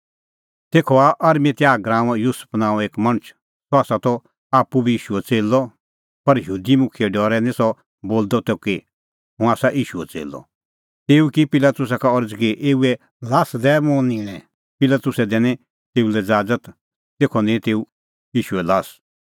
तेखअ आअ अरमतियाह गराऊंओ युसुफ नांओं एक मणछ सह त आप्पू बी ईशूओ च़ेल्लअ पर यहूदी मुखिये डरै निं सह बोलदअ कि हुंह आसा ईशूओ च़ेल्लअ तेऊ की पिलातुसा का अरज़ कि ईशूए ल्हास दै मुंह निंणै पिलातुसै दैनी तेऊ लै ज़ाज़त तेखअ निंईं तेऊ ईशूए ल्हास